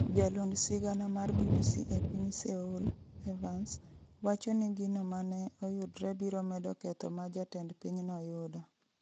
Jalond sigana mar BBC e piny Seoul, Evans, wacho ni gino mane oyudre biro medo ketho ma jatend pinyno yudo.